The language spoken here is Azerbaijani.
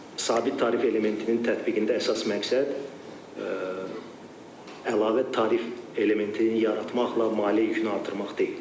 Sabit tarif elementinin tətbiqində əsas məqsəd əlavə tarif elementini yaratmaqla maliyyə yükünü artırmaq deyil.